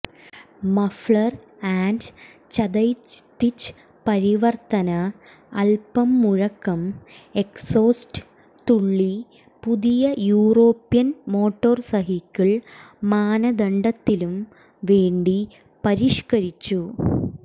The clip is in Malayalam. മഫ്ലർ ആൻഡ് ചതല്യ്തിച് പരിവർത്തന അല്പം മുഴക്കം എക്സോസ്റ്റ് തുള്ളി പുതിയ യൂറോപ്യൻ മോട്ടോർസൈക്കിൾ മാനദണ്ഡത്തിലും വേണ്ടി പരിഷ്ക്കരിച്ചു